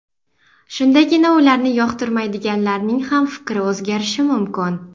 Shundagina ularni yoqtirmaydiganlarning ham fikri o‘zgarishi mumkin.